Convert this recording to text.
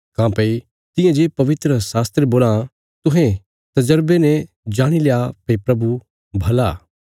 काँह्भई तियां जे पवित्रशास्त्र बोलां तुहें तजरबे ने जाणील्या भई प्रभु भला